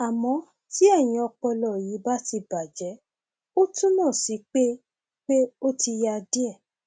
àmọ tí eyín ọpọlọ yìí bá ti bàjẹ ó túmọ sí pé pé ó ti ya díẹ